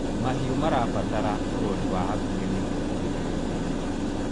mahiũ marabatara urori wa hakuhi nĩguo kugiririria mĩrimũ